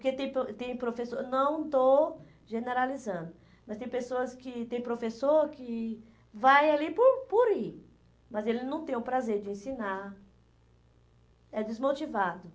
porque tem pro tem professor, não estou generalizando, mas tem pessoas que tem professor que vai ali por por ir, mas ele não tem o prazer de ensinar, é desmotivado.